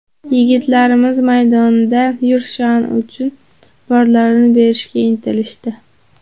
Yigitlarimiz maydonda yurt sha’ni uchun borlarini berishga intilishdi.